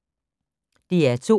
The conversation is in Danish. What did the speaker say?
DR2